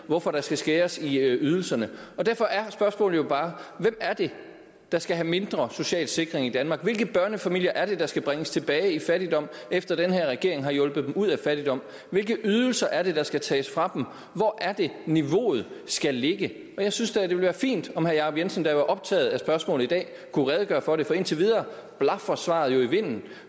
hvorfor der skal skæres i ydelserne derfor er spørgsmålet jo bare hvem er det der skal have mindre social sikring i danmark hvilke børnefamilier er det der skal bringes tilbage i fattigdom efter at den her regering har hjulpet dem ud af fattigdom hvilke ydelser er det der skal tages fra dem hvor er det niveauet skal ligge jeg synes da det ville være fint om herre jacob jensen været optaget af spørgsmålet i dag kunne redegøre for det for indtil videre blafrer svaret jo i vinden